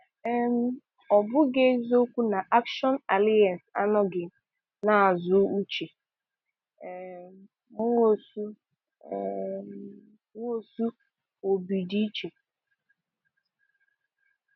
um Ọ bụghị eziokwu na Action Alliance anọghị n'azụ Uche um Nwosu um Nwosu -Obidiche